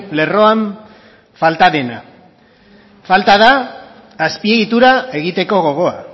lerroan falta dena falta da azpiegitura egiteko gogoa